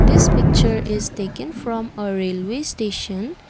this picture is taken from a railway station.